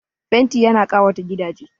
Fenti ya na ƙawata gidaje